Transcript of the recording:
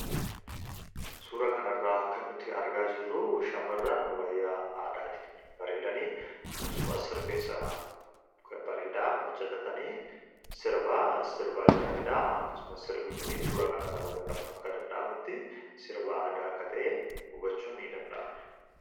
Suura kanarraa kan nuti argaa jirruu shamirran wayyaa aadaatiin bareedanii akkasumas sirfeens bareedaa occatatanii sirbaa jiraniidha akkasumas sirbii kunii suura kanirra ubatamuun akka danda'amutti sirbaa aadaa akka ta'ee hubachuu ni danda'ama.